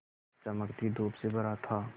चमकती धूप से भरा था